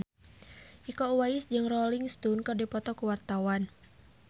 Iko Uwais jeung Rolling Stone keur dipoto ku wartawan